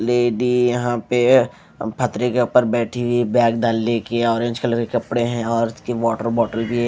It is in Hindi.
लेडी यहां पे पथरी के ऊपर बैठी हुई है बैग डाल ले के ऑरेंज कलर के कपड़े हैं और उसकी वाटर बॉटल की--